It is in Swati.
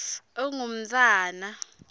ungumntfwana